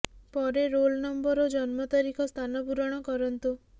ପରେ roll number ଓ ଜନ୍ମତାରିଖ ସ୍ଥାନ ପୂରଣ କରନ୍ତୁ